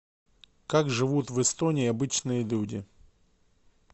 как живут в эстонии обычные люди